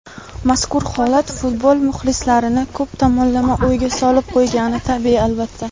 Mazkur holat futbol muxlislarini ko‘p tomonlama o‘yga solib qo‘ygani tabiiy, albatta.